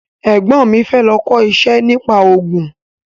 Ẹ̀gbọ́n mi fẹ́ lọ kọ́ iṣẹ́ nípa ògùn